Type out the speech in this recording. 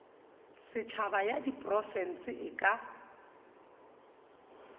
setšhaba ya diprofense e ka